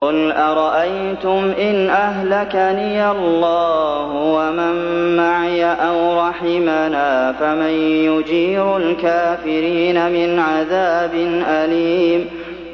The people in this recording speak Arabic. قُلْ أَرَأَيْتُمْ إِنْ أَهْلَكَنِيَ اللَّهُ وَمَن مَّعِيَ أَوْ رَحِمَنَا فَمَن يُجِيرُ الْكَافِرِينَ مِنْ عَذَابٍ أَلِيمٍ